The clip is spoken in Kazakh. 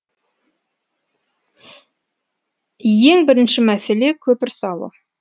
ең бірінші мәселе көпір салу